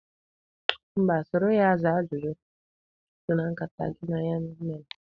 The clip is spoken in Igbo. Mba, soro ya zaa ajụjụ so na nkata gị na ya mere.